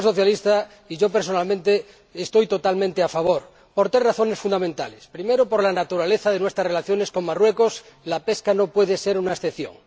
El Grupo Socialista y yo personalmente estamos totalmente a favor por tres razones fundamentales primero, por la naturaleza de nuestras relaciones con Marruecos, la pesca no puede ser una excepción